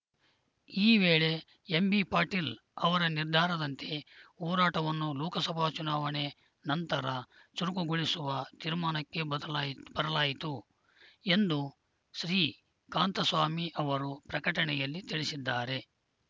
ಈ ವೇಳೆ ಎಂಬಿಪಾಟೀಲ ಅವರ ನಿರ್ಧಾರದಂತೆ ಹೋರಾಟವನ್ನು ಲೋಕಸಭಾ ಚುನಾವಣೆ ನಂತರ ಚುರುಕುಗೊಳಿಸುವ ತೀರ್ಮಾನಕ್ಕೆ ಬದಲಾಯಿತ್ ಬರಲಾಯಿತು ಎಂದು ಶ್ರೀಕಾಂತ ಸ್ವಾಮಿ ಅವರು ಪ್ರಕಟಣೆಯಲ್ಲಿ ತಿಳಿಸಿದ್ದಾರೆ